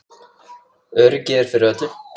Öryggið er fyrir öllu.